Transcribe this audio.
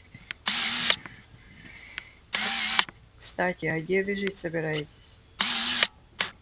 кстати а где вы жить собираетесь